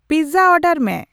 Pizza ᱚᱰᱟᱨ ᱢᱮ ᱾